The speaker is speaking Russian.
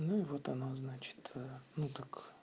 ну вот оно значит ну так